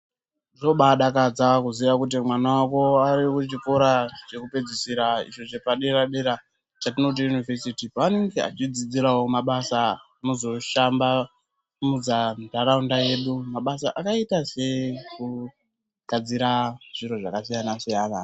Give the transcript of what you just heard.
Zvinobai dakadza kuziya kuti mwana wako ari kuchikora cheku pedzisira icho chepa dera dera chatinoti yunivhesiti panenge echi dzidzirawo mabasa anozo shambanudza naraunda yedu makabasa akaita se kugadzira zviro zvaka siyana siyana